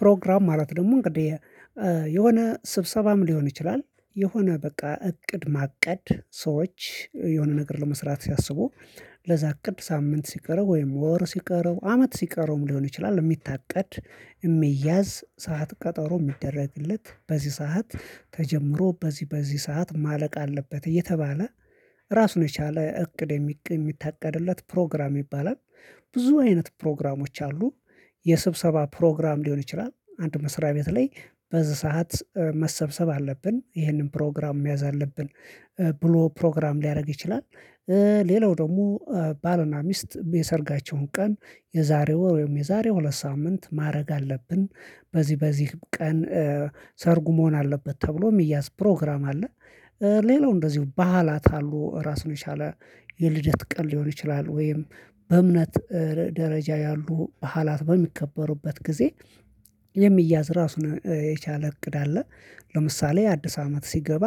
ፕሮግራም ማለት ደግሞ እንግዲህ የሆነ ስብሰባም ሊሆን ይችላል፣ የሆነ በቃ እቅድ ማቀድ ሰዎች የሆነ ነገር ለመስራት ሲያስቡ ለዛ አቅድ ሳምንት ሲቀረው፣ ወይም ወር ሲቀረው፣ አመት ሲቀረውም ሊሆን ይችላል፤ የሚታቀድ፣ የሚያዝ ሰዓት፣ ቀጠሮ የሚደረግለት፣ በዚህ ሰዓት ተጀምሮ በዚህ፣ በዚህ ሰዓት ማለቅ አለበት እየተባለ ራሱን የቻለ እቅድ የሚታቀድለት ፕሮግራም ይባላል። ብዙ አይነት ፕሮግራሞች አሉ። የስብሰባ ፕሮግራም ሊሆን ይችላል፣ አንድ መስሪያ ቤት ላይ በዚህ ሰዓት መሰብሰብ አለብን፣ ይህንን ፕሮግራም መያዝ አለብን ብሎ ፕሮግራም ሊያደርግ ይችላል። ሌላው ደግሞ ባልና ሚስት የሰርጋቸውን ቀን፣ የዛሬ ወር ወይም የዛሬው ሁለት ሳምንት ማድረግ አለብን፤ በዚህ በዚህ ቀን ሰርጉ መሆን አለበት ተብሎ የሚያዝ ፕሮግራም አለ። ሌላው እንደዚሁ ባዓላት አሉ። ራሱን የቻለ የልደት ቀን ሊሆን ይችላል ወይም በእምነት ደረጃ ያሉ በዓላት በሚከበሩበት ጊዜ የሚያዝ ራሱ የቻለ እቅድ አለ። ለምሳሌ አዲስ አመት ሲገባ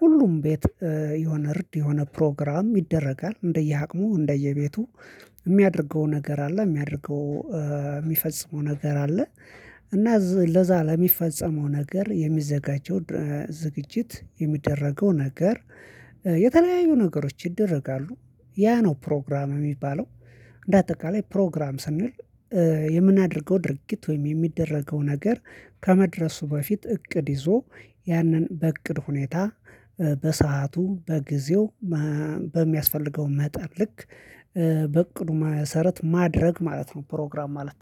ሁሉም ቤት የሆነ እርድ፣ የሆነ ፕሮግራም ይደረጋል። እንደየአቅሙ፣ እንደየቤቱ የሚያደርገው ነገር አለ። የሚያደርገው፣ የሚፈጽመው ነገር አለ። እና ለዛ ለሚፈጸመው ነገር የሚዘጋጀው ዝግጅት፣ የሚደረገው ነገር የተለያዩ ነገሮች ይደረጋሉ። ያ ነው ፕሮግራም የሚባለው። እንደ አጠቃላይ ፕሮግራም ስንል የምናደርገው ድርጊት ወይም የሚደረገው ነገር ከመድረሱ በፊት እቅድ ይዞ ያንን በእቅድ ሁኔታ፣ በሰአቱ፣ በጊዜው በሚያስፈልገው መጠን ልክ፣ በቅዱ መሰረት ማድረግ ማለት ነው ፕሮግራም ማለት።